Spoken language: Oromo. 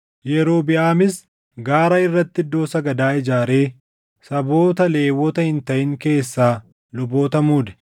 Yerobiʼaamis gaara irratti iddoo sagadaa ijaaree saboota Lewwota hin taʼin keessaa luboota muude.